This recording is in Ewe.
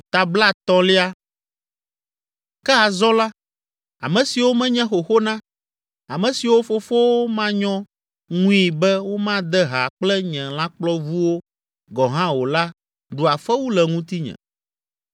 “Ke azɔ la, ame siwo menye xoxo na, ame siwo fofowo manyɔ ŋui be womade ha kple nye lãkplɔvuwo gɔ̃ hã o la ɖua fewu le ŋutinye.